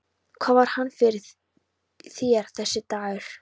Hvað var hann fyrir þér, þessi dagur.